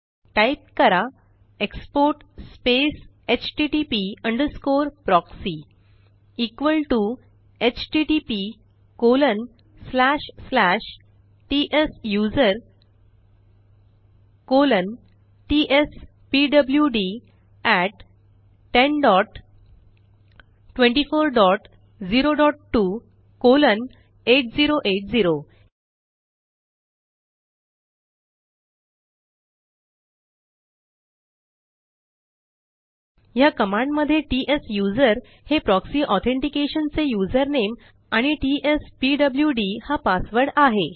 type करा export space HTTP underscore proxy equal T httptsusertspwd1024028080 ह्या कमांडमध्ये त्सुसेर हे प्रॉक्सी ऑथेंटिकेशन चे युझरनेम आणि टीएसपीडब्ल्युड हा पासवर्ड आहे